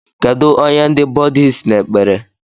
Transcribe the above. Kedu onye ndi Bhuddhists n'ekpere?